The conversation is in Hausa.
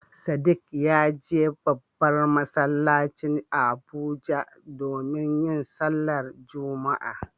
Sadiq ya je babban masallacin Abuja domin yin sallar Juma'a.